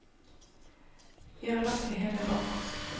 Vi har lagt det hele bak oss.